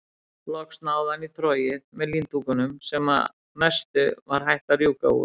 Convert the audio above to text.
Loks náði hann í trogið með líndúkunum sem að mestu var hætt að rjúka úr.